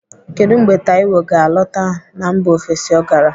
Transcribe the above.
Kedụ mgbe Taiwo ga-alọta na mba ofesi ọ gara?